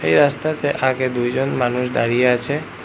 এই রাস্তাতে আগে দুজন মানুষ দাঁড়িয়ে আছে।